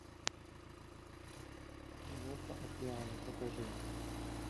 киноха океаны покажи